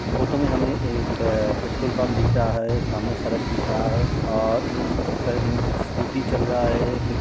Photo में हमे एक अ पेट्रोल पम्प दिख रहा है। सामने सड़क दिख रहा है और उस सड़क में कुछ स्कूटी चल रहा है। --